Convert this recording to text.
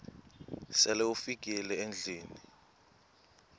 sele ufikile endlwini